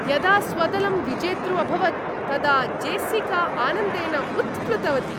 यदा स्वदलं विजेतृ अभवत् तदा जेस्सिका आनन्देन उत्प्लुतवती।